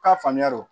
K'a faamuya o